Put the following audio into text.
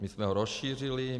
My jsme ho rozšířili.